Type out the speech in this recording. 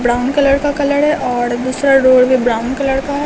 Brown colour का colour है और दूसरा ब्राउन कलर का है।